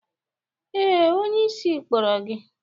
Ee, onyeisi kpọrọ gi.